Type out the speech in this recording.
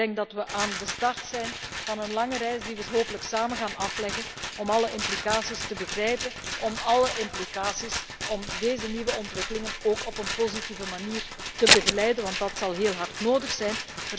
Ik denk dat we aan de start zijn van een lange reis die we hopelijk samen gaan afleggen om alle implicaties te begrijpen, om deze nieuwe ontwikkelingen ook op een positieve manier te begeleiden, want dat zal heel hard nodig zijn.